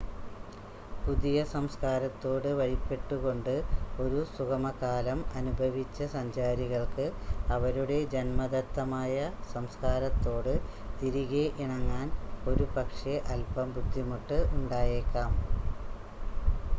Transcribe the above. പുതിയ സംസ്ക്കാരത്തോട് വഴിപ്പെട്ടുകൊണ്ട് ഒരു സുഗമകാലം അനുഭവിച്ച സഞ്ചാരികൾക്ക് അവരുടെ ജന്മദത്തമായ സംസ്ക്കാരത്തോട് തിരികെ ഇണങ്ങാൻ ഒരുപക്ഷേ അൽപം ബുദ്ധിമുട്ട് ഉണ്ടായേക്കാം